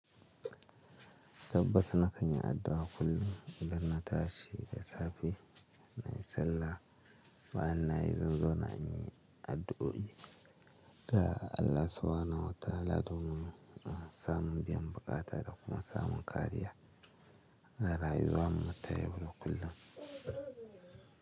Tabbas na kanyi addu'a kullum idan na tashi da safe na yi sallah, bayan na yi zanzona an yi addu'o'i ga Allah subhanahu wata'ala domin ah samun biyan buƙata da kuma samu kariya a rayuwan mu ta yau da kullum.